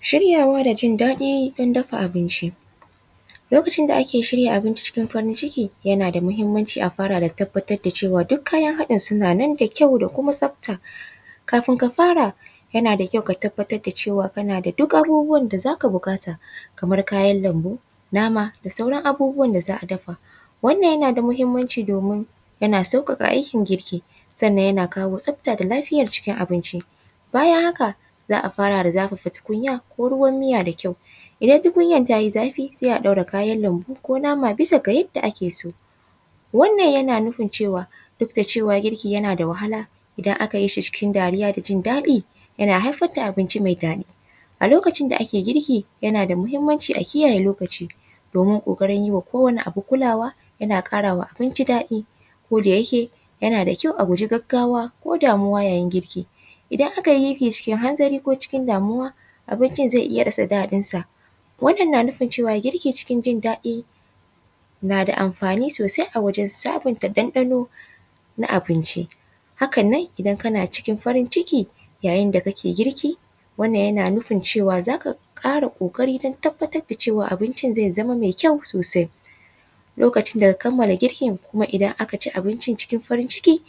Shiryawa da jin daɗi don dafa abinci. Lokacin da ake shirya abinci cikin farin ciki, yana da muhimmanci a fara tabbatar da cewa duk kayan haɗin suna nan da kyau da kuma tsafta. Kafin ka fara, yana da kyau ka tabbatar da cewa kana daduk abubuwan da za ka buƙata, kamar kayan lambu, nama da sauran abubuwan da za a dafa. Wannan yana da muhimmanci domin yana sauƙaƙa aikin girki, sannan yana kawo tsafta da lafiyar cikin abinci. Bayan haka, za a fara da zafafa tukunya ko ruwan miya da kyau. Idan tukunyar ta yi zafi, sai a ɗaura kayan lambu ko nama bisa ga yadda ake so. Wannan yana nufin cewa, duk da cewa girki yana da wahala, idan aka yi shi cikin dariya da jin daɗi, yana haifar da abinci mai daɗi. A lokacin da ake girki, yana da muhimmanci a kiyaye lokaci, domin ƙoƙarin yi wa kowane abu kulawa, yana ƙara wa abinci daɗi. Ko da yake, yana da kyau a guji gaggawa ko damuwa yayin girki. Idan aka yi girki cikin hanzari ko cikin damuwa, abincin zai iya rasa daɗinsa. Wannan na nufin cewa girkin cikin jin daɗi, na da amfai sosai wajen sabunta ɗanɗano na abinci. Hakan nan, idan kana cikin farin ciki, yayin da kake girki, wannan yana nufin cewa za ka ƙara ƙoƙari don tabbatar da cewa abincin zai zama mai kyau sosai. Lokacin da ka kamala girkin kuma idan aka ci abincin cikin farin ciki,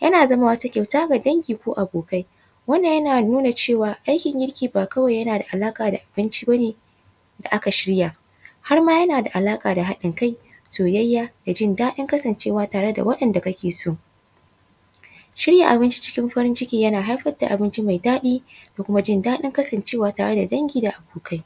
yana zama wata kyauta ga dangi ko kuma abokai. Wannan yana nuna cewa, aikin girki ba kawai yana da alaƙa da abinci ba ne da aka shirya, har ma yana da alaƙa da haɗin kai, soyayya da jin daɗin kasancewa tare da waɗanda kake so. Shirya abinci cikin farin ciki yana haifar da abinci mai daɗi da kuma jin daɗin kasancewa tare da dangi da kuma abokai.